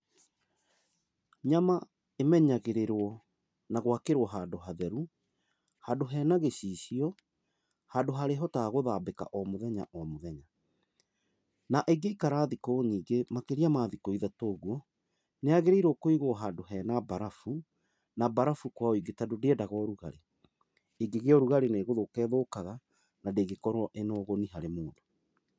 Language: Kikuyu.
Nyama ĩmenyagĩrĩrwo na gwakĩrwo handũ hatheru, handũ hena gĩcicio, handũ harĩhotaga gũthambĩka o mũthenya mũthenya. Na ĩngĩikara thikũ nyingĩ makĩria mathikũ ithatũ, ũguũ, nĩ yagĩrĩirwo kũigwo handũ hena mbarabu na mbarabu kwa ũingĩ, tondũ ndĩendaga ũrugarĩ. Ĩngĩgĩa ũrugarĩ nĩgũthũka ĩthũkaga, na ndĩngĩkorwo ĩna ũguni harĩ mũndũ.